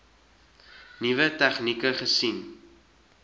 nuwe tegnieke gesien